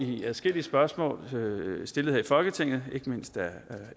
adskillige spørgsmål stillet her i folketinget